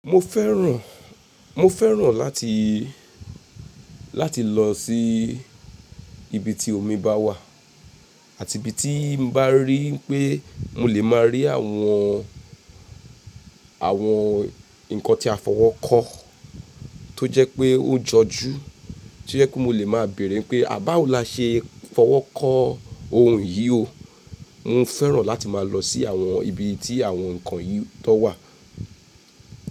Mo fẹ́ràn, mo fẹ́ràn láti, láti lọ sí ibi tí omi bá wà àti ibi tí n bá rí pé mo lè máa rí àwọn, àwọn ǹkan tí a fọwọ́kọ́ tó jẹ́ pé ó jọjú, tí jẹ́ pe mo lè máa béèrè pé àh, báwọ là ṣe fọwọ́kọ́ ohun yi ò. Mo fẹ́ràn láti máa lọ sí àwọn ibi tí àwọn ǹkan yìí tan wà.